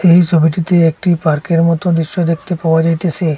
এই সবিটিতে একটি পার্কের মতো দৃশ্য দেখতে পাওয়া যাইতেসে।